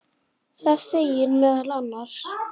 Það segir meðal annars